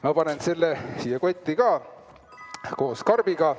Ma panen selle ka siia kotti koos karbiga.